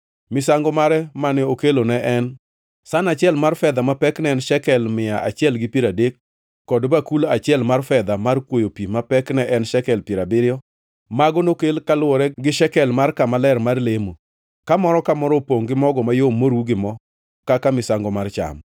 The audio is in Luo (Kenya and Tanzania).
Misango mare mane okelo ne en san achiel mar fedha ma pekne ne en shekel mia achiel gi piero adek, kod bakul achiel mar fedha mar kwoyo pi ma pekne en shekel piero abiriyo. Mago nokel kaluwore gi shekel mar kama ler mar lemo, ka moro ka moro opongʼ gi mogo mayom moru gi mo kaka misango mar cham;